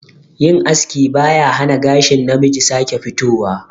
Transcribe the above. Yin aski ba ya hana gashin namiji sake fitowa